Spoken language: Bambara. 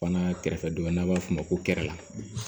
Fana kɛrɛfɛ dɔ bɛ yen n'a b'a f'o ma kɛrɛ la